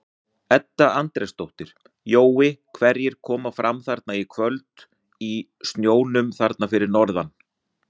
Edda Andrésdóttir: Jói hverjir koma fram þarna í kvöld í snjónum þarna fyrir norðan?